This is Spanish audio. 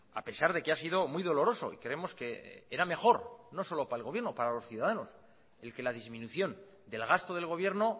a pesar de que ha sido muy doloroso y creemos que era mejor no solo para el gobierno para los ciudadanos el que la disminución del gasto del gobierno